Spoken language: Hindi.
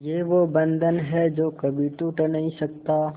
ये वो बंधन है जो कभी टूट नही सकता